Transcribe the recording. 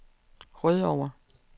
Rødovre